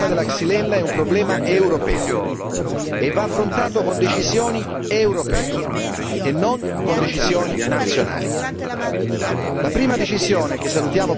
Innanzitutto, questo dimostra che il problema della Xylella è un problema europeo e va affrontato con decisioni europee e non con decisioni nazionali.